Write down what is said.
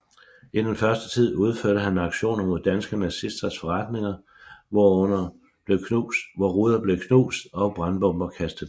I den første tid udførte han aktioner mod danske nazisters forretninger hvor ruder blev knust og brandbomber kastet ind